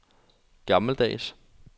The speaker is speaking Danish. gammeldags